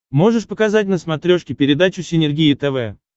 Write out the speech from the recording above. можешь показать на смотрешке передачу синергия тв